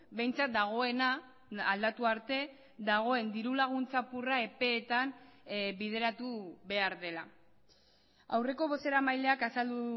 behintzat dagoena aldatu arte dagoen dirulaguntza apurra epeetan bideratu behar dela aurreko bozeramaileak azaldu